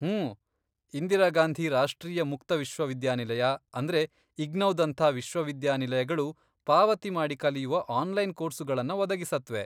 ಹೂಂ, ಇಂದಿರಾ ಗಾಂಧಿ ರಾಷ್ಟ್ರೀಯ ಮುಕ್ತ ವಿಶ್ವವಿದ್ಯಾನಿಲಯ, ಅಂದ್ರೆ ಇಗ್ನೌದಂಥ ವಿಶ್ವವಿದ್ಯಾನಿಲಯಗಳು, ಪಾವತಿ ಮಾಡಿ ಕಲಿಯುವ ಆನ್ಲೈನ್ ಕೋರ್ಸುಗಳನ್ನ ಒದಗಿಸತ್ವೆ.